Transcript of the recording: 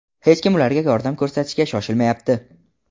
Hech kim ularga yordam ko‘rsatishga shoshilmayapti.